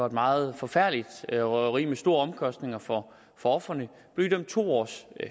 et meget forfærdeligt røveri med store omkostninger for ofrene og blev idømt to års